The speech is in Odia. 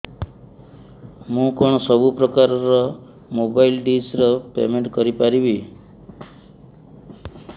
ମୁ କଣ ସବୁ ପ୍ରକାର ର ମୋବାଇଲ୍ ଡିସ୍ ର ପେମେଣ୍ଟ କରି ପାରିବି